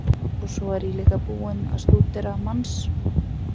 Og svo er ég líka búinn að stúdera manns